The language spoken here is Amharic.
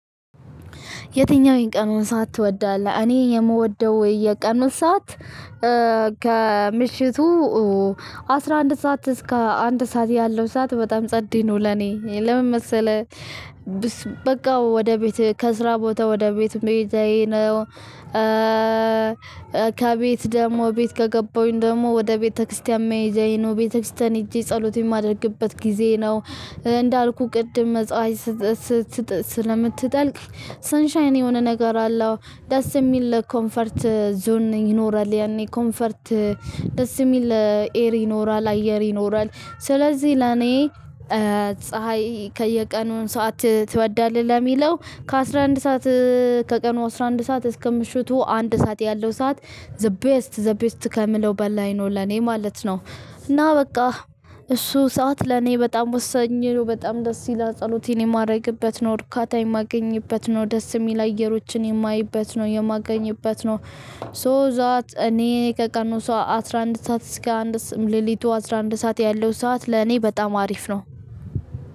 የትኛው የቀኑን ሰዓት ትወዳለህ? እኔ የምወደው የቀኑ ሰዓት ከምሽቱ አስራ አንድ ሰዓት እስከ አንድ ሰዓት ያለው ሰዓት በጣም ጸዴ ነው። ለኔ ለምን መሰለህ በቃ ወደ ቤት ከስራ ቦታ ወደ ቤት መሄድ ነው። ከቤት ደግሞ ቤት ከገባሁኝ ደግሞ ወደ ቤተክርስቲያን መሄጃዬ ነው ቤተክርስቲያን ሄጄ ጸሎት የማደርግበት ጊዜ ነው። እንዳልኩህ ቅድም መጽዋት ስት ስት ስለምትጠልቅ ሰንሻይን የሆነ ነገር አለው ደስ የሚል ኮምፈርት ዞን ይኖራል። ያኔ ኮምፈርት ደስ የሚል አኢየር ይኖራል አየር ይኖራል። ስለዚህ ለኔ ፀሀይ ከየቀኑ ሰዓት ትወዳለህ? ለሚለው ከአስራ አንድ ሰዓት ከቀኑ አስራ አንድ ሰዓት እስከ ምሽቱ አንድ ሰዓት ያለው ሰዓት ዘ ቤስት ዘ ቤስት ከምለው በላይ ነው ለኔ ማለት ነው። እና በቃ እሱ ሰዓት ለኔ በጣም ወሳኚ ነው። በጣም ደስ ይላል ጸሎትን የማደርግበት ነው እርካታ የማገኝበት ነው ደስ የሚል አየሮችን የማይበት ነው የማገኝበት ነው። ሶ ዛት እኔ ከቀኑ ሰው አስራ አንድ ሰዓት እስከ አንድ ስም ሌሊቱ አስራ አንድ ሰዓት ያለው ሰዓት ለእኔ በጣም አሪፍ ነው።